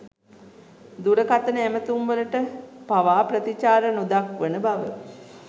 දුරකතන ඇමතුම්වලට පවා ප්‍රතිචාර නොදක්වන බව